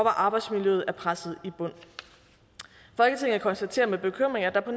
arbejdsmiljøet er presset i bund folketinget konstaterer med bekymring at der på